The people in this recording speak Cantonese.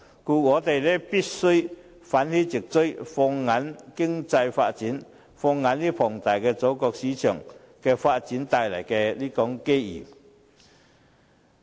故此，我們必須奮起直追，放眼於經濟發展，放眼於龐大祖國市場發展帶來的機遇。